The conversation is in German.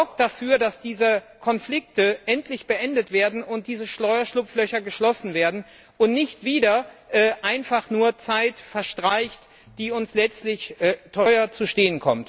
Sorgt dafür, dass diese Konflikte endlich beendet und diese Steuerschlupflöcher geschlossen werden und nicht wieder einfach nur Zeit verstreicht, die uns letztlich teuer zu stehen kommt!